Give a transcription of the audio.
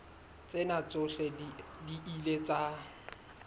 tsena tsohle di ile tsa